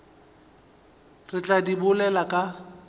re tla di bolela ka